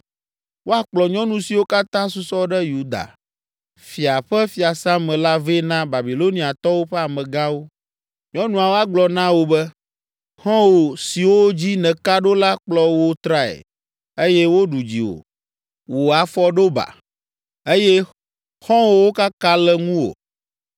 ‘Woakplɔ nyɔnu siwo katã susɔ ɖe Yuda fia ƒe fiasã me la vɛ na Babiloniatɔwo ƒe amegãwo. Nyɔnuawo agblɔ na wò be: “ ‘Xɔ̃wò siwo dzi nèka ɖo la kplɔ wò trae, eye woɖu dziwò. Wò afɔ ɖo ba, eye xɔ̃wòwo kaka le ŋuwò.’